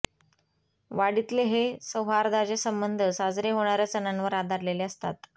वाडीतले हे सौहार्दाचे संबंध साजरे होणार्या सणांवर आधारलेले असतात